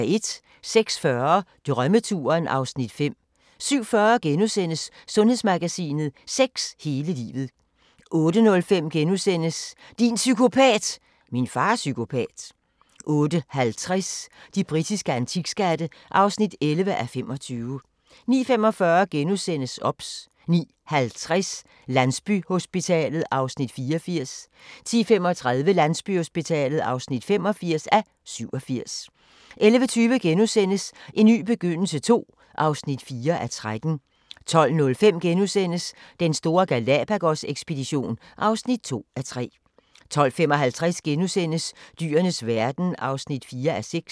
06:40: Drømmeturen (Afs. 5) 07:40: Sundhedsmagasinet: Sex hele livet * 08:05: Din psykopat! – Min far er psykopat * 08:50: De britiske antikskatte (11:25) 09:45: OBS * 09:50: Landsbyhospitalet (84:87) 10:35: Landsbyhospitalet (85:87) 11:20: En ny begyndelse II (4:13)* 12:05: Den store Galápagos-ekspedition (2:3)* 12:55: Dyrenes verden (4:6)*